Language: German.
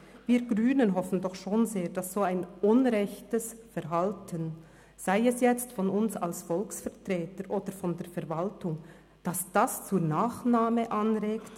Wir Grünen hoffen doch schon sehr, dass ein solch unrechtes Verhalten, sei es jetzt von uns als Volksvertretern, sei es von der Verwaltung, nicht zur Nachahmung anregt.